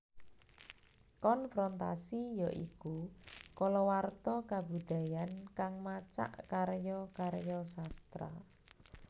Konfrontasi ya iku kalawarta kabudayan kang macak karya karya sastra